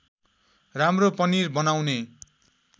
राम्रो पनिर बनाउने